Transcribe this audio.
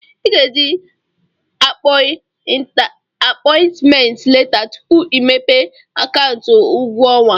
Ị ga eji apọị ntment leta tupu i mepee akaụntụ ụgwọ ọnwa.